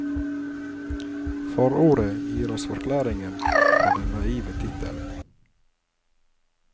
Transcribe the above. Forordet gir oss forklaringen på den naive tittelen.